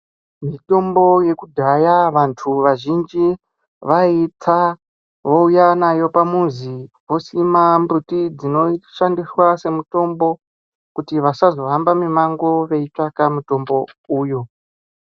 Mitombo yekudhaya vantu vazhinji vaitsa vouya nayo pamuzi vosima mbuti dzinoshandiswa semutmbo kuitira kuti vasazo hamba mumango veitsvaka mutombo uyu.